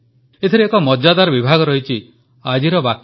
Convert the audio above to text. ଏଥିରେ ଏକ ମଜାଦାର ବିଭାଗ ରହିଛି ଆଜିର ବାକ୍ୟ